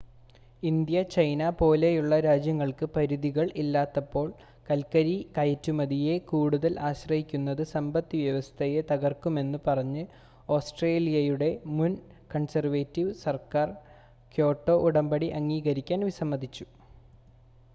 India China പോലെയുള്ള രാജ്യങ്ങൾക്ക് പരിധികൾ ഇല്ലാത്തപ്പോൾ കൽക്കരി കയറ്റുമതിയെ കൂടുതൽ ആശ്രയിക്കുന്നത് സമ്പത്ത് വ്യവസ്ഥയെ തകർക്കുമെന്ന് പറഞ്ഞ് ആസ്‌ട്രേലിയയുടെ മുൻ കൺസേർവേറ്റിവ് സർക്കർ ക്യോട്ടോ ഉടമ്പടി അംഗീകരിക്കാൻ വിസമ്മതിച്ചു